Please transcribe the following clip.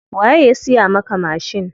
Waye ya siya maka mashin?